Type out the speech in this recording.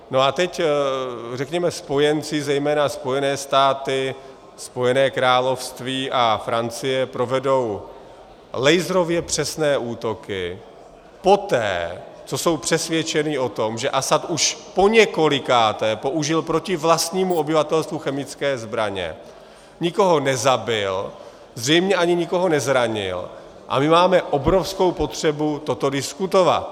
No a teď řekněme spojenci, zejména Spojené státy, Spojené království a Francie, provedou laserově přesné útoky poté, co jsou přesvědčeny o tom, že Asad už poněkolikáté použil proti vlastnímu obyvatelstvu chemické zbraně, nikoho nezabil, zřejmě ani nikoho nezranil, a my máme obrovskou potřebu toto diskutovat.